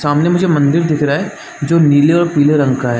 सामने मुझे मंदिर दिख रहा है जो नीले और पीले रंग का हैं।